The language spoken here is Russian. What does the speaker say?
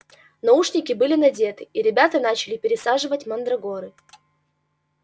наушники были надеты и ребята начали пересаживать мандрагоры